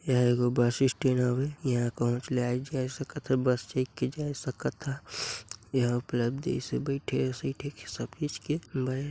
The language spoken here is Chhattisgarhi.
एहा एगो बस स्टैन्ड हवे इहाँ कहुच ले आए जाए सकत हच बस चघ के जाए सकत हाच एहा उपलब्ध दीसे बईथे के सिथे के सब चीज के ब--